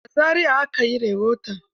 A Zariya aka yi rahoton.